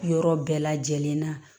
Yɔrɔ bɛɛ lajɛlen na